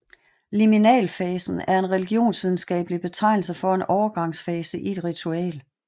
Liminalfasen er en religionsvidenskabelig betegnelse for en overgangsfase i et ritual